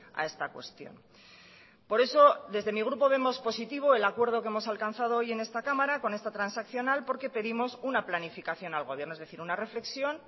a esta cuestión por eso desde mi grupo vemos positivo el acuerdo que hemos alcanzado hoy en esta cámara con esta transaccional porque pedimos una planificación al gobierno es decir una reflexión